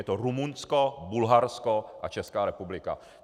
Je to Rumunsko, Bulharsko a Česká republika.